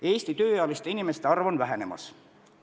Eesti tööealiste inimeste arv on vähenemas.